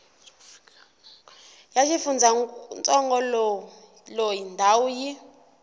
wa xifundzantsongo loyi ndhawu yi